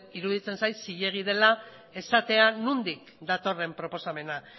iruditzen zait zilegi dela esatea nondik datorren proposamena